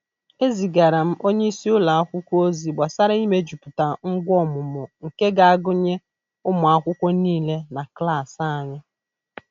Ezigara m onye isi ụlọ akwụkwọ ozi gbasara imejuputa ngwa ọmụmụ nke ga-agụnye ụmụ akwụkwọ niile na klas anyị.